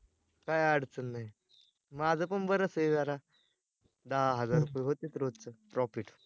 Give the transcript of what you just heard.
काय अडचण नाय, माझं पण बरच आहे जरा दहा हजार रूपए होतेत रोजचं profit